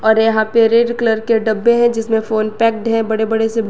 और यहाँ पे रेड कलर के डब्बे हैं जिसमें फोन पैकड है बड़े बड़े से--